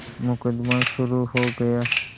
मुकदमा शुरु हो गया